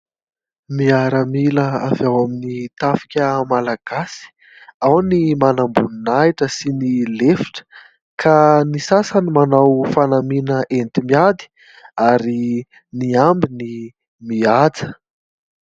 Miaramila avy ao amin'ny tafika malagasy : ao ny manam-boninahitra sy ny lefitra ka ny sasany manao fanamihana enti-miady ary ny ambiny mihaja.